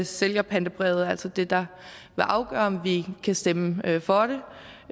sælgerpantebrevet er altså det der vil afgøre om vi kan stemme for